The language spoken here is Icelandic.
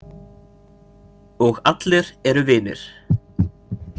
Og allir eru vinir.